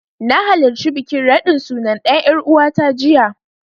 Na halarci bikin raɗin suna ɗan ƴaruwata jiya.